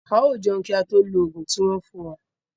A yóò jẹun kí a tó lo oògùn tí wón fún wa.